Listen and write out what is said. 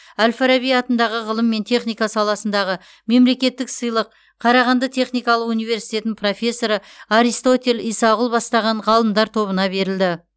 әл фараби атындағы ғылым мен техника саласындағы мемлекеттік сыйлық қарағанды техникалық университетінің профессоры аристотель исағұлов бастаған ғалымдар тобына берілді